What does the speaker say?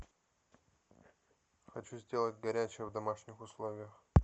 хочу сделать горячее в домашних условиях